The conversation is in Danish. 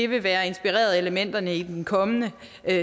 vil være inspireret af elementerne i den kommende